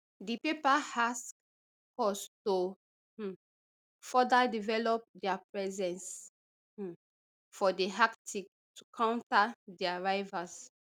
di paper ask us to um further develop dia presence um for di arctic to counter dia rivals